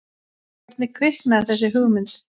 Hvernig kviknaði þessi hugmynd?